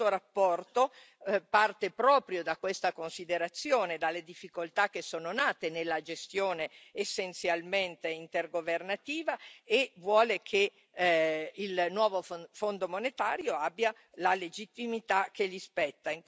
Questa relazione parte proprio da questa considerazione, dalle difficoltà che sono nate nella gestione essenzialmente intergovernativa, e vuole che il nuovo Fondo monetario abbia la legittimità che gli spetta.